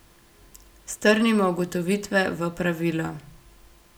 Strnimo ugotovitve v pravilo.